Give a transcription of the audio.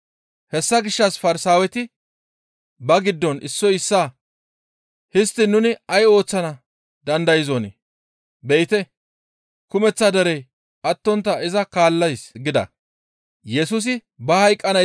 Hessa gishshas Farsaaweti ba giddon issoy issaa, «Histtiin nuni ay ooththana dandayzonii? Be7ite! Kumeththa derey attontta iza kaallees» gida.